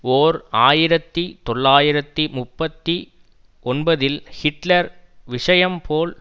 ஓர் ஆயிரத்தி தொள்ளாயிரத்தி முப்பத்தி ஒன்பதில் ஹிட்லர் விஷயம் போல்